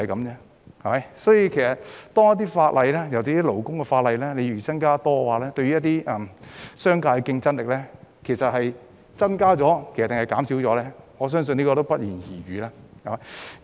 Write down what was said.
因此，如果制定的法例，尤其是勞工法例越多，商界的競爭力會增加還是減少，我相信是不言而喻。